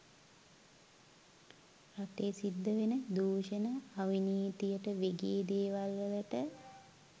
රටේ සිද්ද වෙන දූෂණ අවනීතියට වෙගේ දේවල් වලට